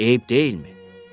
Eyib deyilmi?